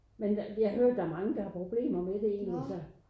Men der jeg hører der mange der har problemer med det egentlig så